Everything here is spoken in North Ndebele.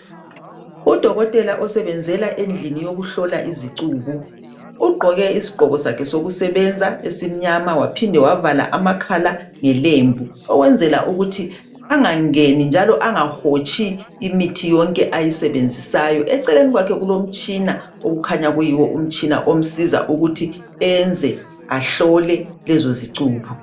udokotela usebenzela endini yokuhlola izicubo ugqoke isigqoko sakhe sokusebenza esimnyama waphinda wavala amakhala ngelembu ukwenzela ukuthi angangeni njalo angahotshi imithi yonke ayisebenzisayo eceleni kwakhe kulemtshina okukhanya kuyiwo umtshina omsizayo ukwenzela ukuthi ahlole izicubo